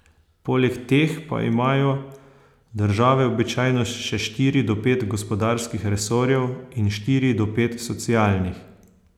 Poleg teh pa imajo države običajno še štiri do pet gospodarskih resorjev in štiri do pet socialnih.